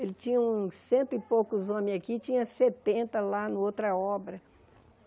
Ele tinha uns cento e poucos homens aqui, tinha setenta lá na outra obra.